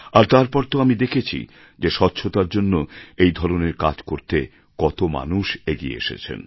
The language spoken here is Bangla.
আর তারপর তো আমি দেখেছি যে স্বচ্ছতার জন্য এই ধরনের কাজ করতে কত মানুষ এগিয়ে এসেছেন